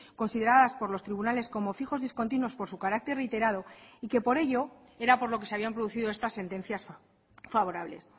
consideradas por los tribunales como fijos discontinuos por su carácter reiterado y que por ello era por lo que se habían producido estas sentencias favorables